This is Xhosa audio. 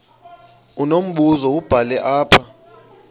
unombuzo wubhale apha